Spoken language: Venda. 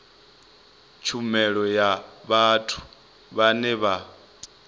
tshumelo ya vhathu vhane vha